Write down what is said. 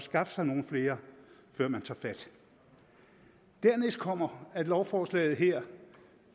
skaffe sig nogle flere før man tager fat dernæst kommer at lovforslaget her